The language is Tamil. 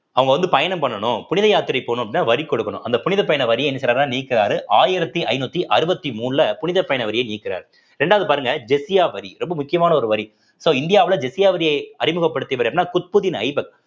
அவங்க வந்து பயணம் பண்ணணும் புனித யாத்திரை போகணும் அப்படின்னா வரி கொடுக்கணும் அந்த புனித பயண வரியை என்ன செய்யறாங்க நீக்குறாரு ஆயிரத்தி ஐநூத்தி அறுவத்தி மூணுல புனித பயண வரிய நீக்குறாரு இரண்டாவது பாருங்க ஜிஸ்யா வரி ரொம்ப முக்கியமான ஒரு வரி so இந்தியாவுல ஜிஸ்யா வரிய அறிமுகப்படுத்தியவர் அப்படின்னா குத்புத்தீன் ஐபக்